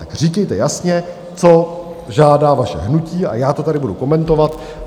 Tak říkejte jasně, co žádá vaše hnutí, a já to tady budu komentovat.